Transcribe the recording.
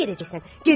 hara gedəcəksən?